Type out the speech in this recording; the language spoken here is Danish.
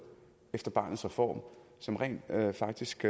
efter barnets reform som rent faktisk